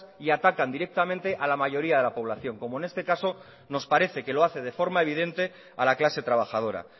y atacan directamente a la mayoría de la población como en este caso que nos parece que lo hace de forma evidente a la clase trabajadora